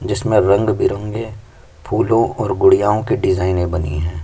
जिसमें रंग बिरंगे फूलों और ग़ुड़ियाओँ के डिजाइने बनी हैं।